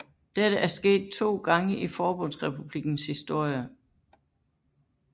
Dette er sket to gange i forbundsrepublikkens historie